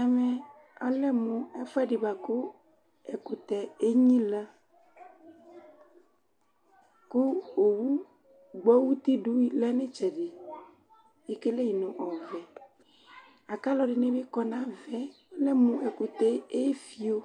Ɛmɛ alɛ mʋ ɛfʋɛdɩ bʋa kʋ ɛkʋtɛ enyilǝKʋ owu gbɔ utidʋ lɛ nʋ ɩtsɛdɩEkele yɩ nʋ ɔvɛ, akʋ alʋ ɛdɩnɩ bɩ kɔ navaɛAlɛ mʋ ɛkʋtɛɛ efio,